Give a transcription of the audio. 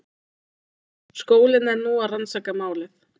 Skólinn er nú að rannsaka málið